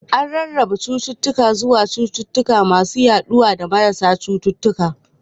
An rarraba cututtuka zuwa cututtuka masu yaduwa da marasa cututtuka